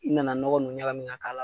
I nana nɔgɔn nunnu ɲakamin ka k'a la.